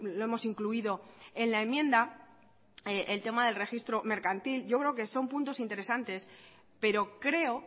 lo hemos incluido en la enmienda el tema del registro mercantil yo creo que son puntos interesantes pero creo